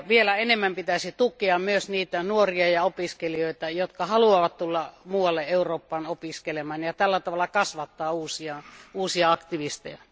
Vielä enemmän pitäisi tukea myös niitä nuoria ja opiskelijoita, jotka haluavat tulla muualle Eurooppaan opiskelemaan ja tällä tavalla kasvattaa uusia aktivisteja.